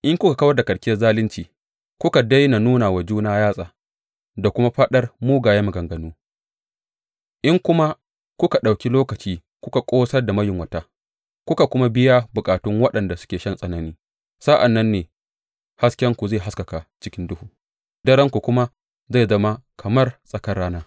In kuka kawar da karkiyar zalunci, kuka daina nuna wa juna yatsa da kuma faɗar mugayen maganganu, in kuma kuka ɗauki lokaci kuka ƙosar da mayunwata kuka kuma biya bukatun waɗanda suke shan tsanani, sa’an nan ne haskenku zai haskaka cikin duhu darenku kuma zai zama kamar tsakar rana.